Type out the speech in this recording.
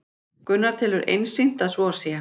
Gunnar telur einsýnt að svo sé